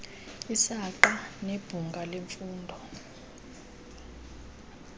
isaqa nebhunga lemfundo